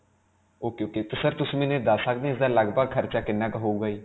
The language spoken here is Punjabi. ok ok. 'ਤੇ sir ਤੁਸੀਂ ਮੈਨੂੰ ਇਹ ਦੱਸ ਸਕਦੇ ਹੋ ਇਸਦਾ ਲਗ-ਭਗ ਖਰਚਾ ਕਿੰਨਾ ਕੁ ਹੋਵੇਗਾ ਜੀ?